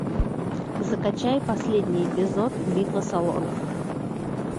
закачай последний эпизод битва салонов